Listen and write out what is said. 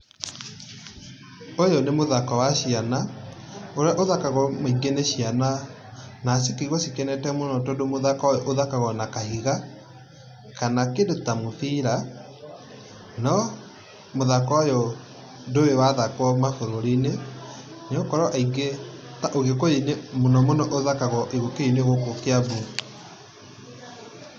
Ũyũ nĩ mũthako wa ciana, ũrĩa ũthakagũo maingĩ nĩ ciana na cikaigua cikenete mũno tandũ mũthako ũyũ ũthakagwo na kahiga kana kĩndũ ta mũbira. No mũthako ũyũ ndũrĩ wathakwo mabũrũri-inĩ ,nĩgũkorwo aingĩ ta ũgĩkũyũ-inĩ mũnomũno ũthakagwo ũgĩkũyũ-inĩ gũkũ kĩambu.